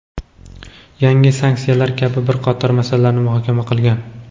yangi sanksiyalar kabi bir qator masalalarni muhokama qilgan.